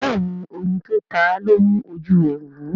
béèni oyin tó táa lọ mú oju e wú.